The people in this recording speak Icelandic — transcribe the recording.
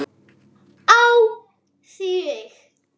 Á þig.